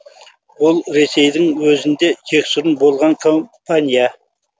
ол ресейдің өзінде жексұрын болған компания